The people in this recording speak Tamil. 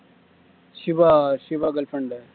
Siva Shiva girl friend